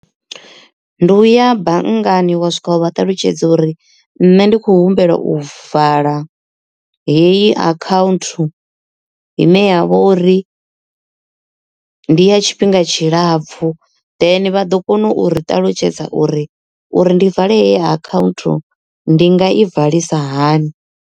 Ndi uya banngani wa swika vha ṱalutshedza uri nṋe ndi kho humbela u vala heyi account ine ya vha uri ndi ya tshifhinga tshilapfu then vha ḓo kona u ri ṱalutshedza uri uri ndi vale heyi account ndi nga i valisa hani.